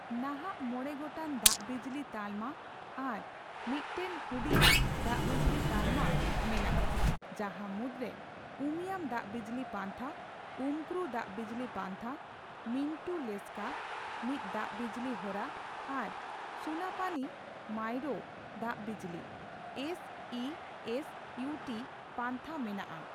ᱱᱟᱦᱟᱜ ᱢᱚᱬᱮ ᱜᱚᱴᱟᱝ ᱫᱟᱜᱵᱤᱡᱽᱞᱤ ᱛᱟᱞᱢᱟ ᱟᱨ ᱢᱤᱫᱴᱟᱝ ᱦᱩᱰᱤᱧ ᱫᱟᱜᱵᱤᱡᱽᱞᱤ ᱛᱟᱞᱢᱟ ᱢᱮᱱᱟᱜᱼᱟ ᱡᱟᱦᱟ ᱢᱩᱫᱨᱮ ᱩᱢᱤᱭᱟᱢ ᱫᱟᱜᱵᱤᱡᱽᱞᱤ ᱯᱟᱱᱛᱷᱟ, ᱩᱢᱠᱨᱩ ᱫᱟᱜᱵᱤᱡᱽᱞᱤ ᱯᱟᱱᱛᱷᱟ, ᱢᱤᱱᱴᱩ ᱞᱮᱥᱠᱟᱼᱢᱤᱛ ᱫᱟᱜᱵᱤᱡᱽᱞᱤ ᱦᱚᱨᱟ ᱟᱨ ᱥᱩᱱᱟᱯᱟᱱᱤ ᱢᱟᱭᱨᱚᱳ ᱫᱟᱜᱵᱤᱡᱽᱞᱤ (ᱮᱥ ᱤ ᱮᱥ ᱩᱴ) ᱯᱟᱱᱛᱷᱟ ᱢᱮᱱᱟᱜᱼᱟ ᱾